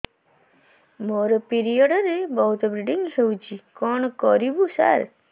ମୋର ପିରିଅଡ଼ ରେ ବହୁତ ବ୍ଲିଡ଼ିଙ୍ଗ ହଉଚି କଣ କରିବୁ ସାର